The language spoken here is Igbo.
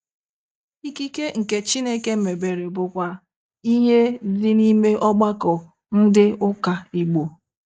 Ikike nke Chineke mebere bụkwa ihe dị n'ime ọgbakọ ndị ụka Igbo